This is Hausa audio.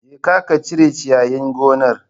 Jeka ka cire ciyayin gonar